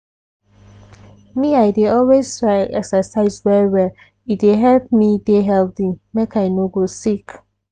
me i dey always try exercise well well e dey help me dey healthy make i no go sick.